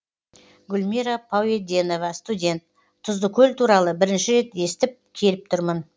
гүлмира пауеденова студент тұздыкөл туралы бірінші рет естіп келіп тұрмын